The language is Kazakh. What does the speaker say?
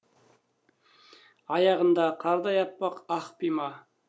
аяғында қардай аппақ ақ пима